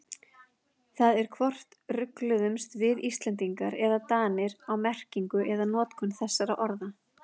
Það er hvort rugluðumst við Íslendingar eða Danir á merkingu eða notkun þessara orða.